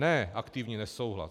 Ne aktivní nesouhlas.